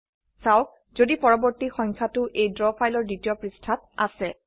চাওক যদি পৰবৰ্তী সংখ্যাটো এই ড্ৰ ফাইলৰ দ্বিতীয় পৃষ্ঠাত আছে